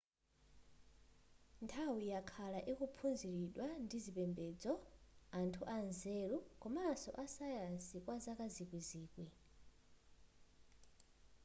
nthawi yakhala ikuphunziridwa ndi zipembedzo anthu anzeru komanso azasayansi kwazaka zikwizikwi